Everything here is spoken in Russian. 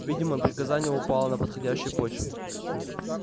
видимо приказание упало на подходящую почву